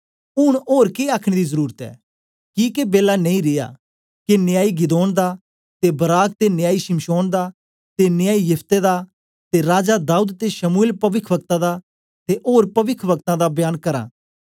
ऊन ओर के आखने दी जरुरत ऐ किके बेला नेई रिया के न्यायी गिदोंन दा ते बाराक ते न्यायी शिमशोंन दा ते न्यायी यिफतह दा ते राजा दाऊद ते शमूएल पविख्वक्ता दा ते ओर पविखवक्तां दा बयान करां